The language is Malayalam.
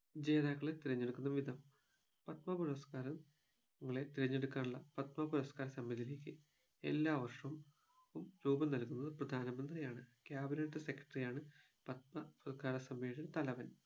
ജേതാക്കളെ തിരഞ്ഞെടുക്കുന്ന വിധം പത്മ പുരസ്‌കാരം ങ്ങളെ തെരഞ്ഞെടുക്കാനുള്ള പത്മ പുരസ്കാര സമിതിയിലേക്ക് എല്ലാ വർഷവും ഉം രൂപം നൽകുന്നത് പ്രധാന മന്ത്രിയാണ് cabinet secretary യാണ് പത്മ പുരസ്കാര സമിതിയുടെ തലവൻ